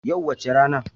Yau wace rana?